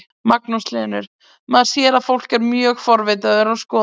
Magnús Hlynur: Maður sér að fólk er mjög forvitið og er að skoða hérna?